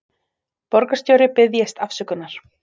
Borgarstjóri biðjist afsökunar